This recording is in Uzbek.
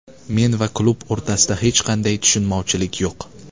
Men va klub o‘rtasida hech qanday tushunmovchilik yo‘q.